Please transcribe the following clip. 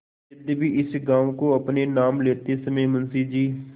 यद्यपि इस गॉँव को अपने नाम लेते समय मुंशी जी